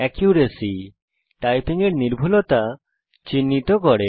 accuracy - আপনার typing এর নির্ভুলতা চিহ্নিত করে